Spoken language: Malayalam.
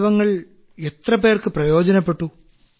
അവയവങ്ങൾ എത്രപേർക്ക് പ്രയോജനപ്പെട്ടു